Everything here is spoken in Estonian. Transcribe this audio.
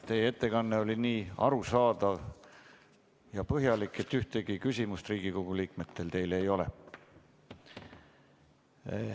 Teie ettekanne oli nii arusaadav ja põhjalik, et ühtegi küsimust Riigikogu liikmetel teile ei ole.